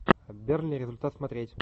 бернли результат смотреть